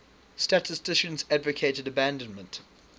statisticians advocated abandonment